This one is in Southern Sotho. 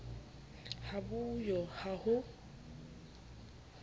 ha bo yo ha ho